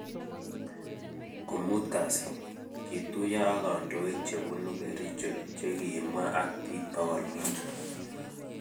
Komut kasit, kituyo ak kandoik che bunu Kericho che kibwaa ak bik pokol mut